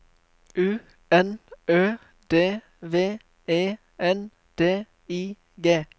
U N Ø D V E N D I G